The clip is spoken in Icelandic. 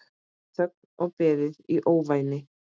Þögn og beðið í ofvæni.